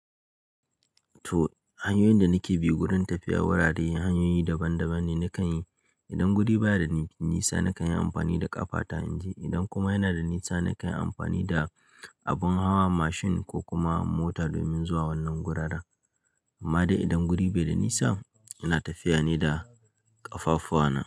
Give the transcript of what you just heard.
To hanyoyin da nake bi gurin tafiya wurare hanyoyi daban-daban ne na kan yi. Idan guri baya da ni--nisa na kan yi amfani da ƙafata in je. Idan kuma yana da nisa na kan yi amfani da abun hawa mashin ko kuma mota domin zuwa wannan guraren. Amma dai idan guri bai da nisa ina tafiya ne da ƙafafuwa na.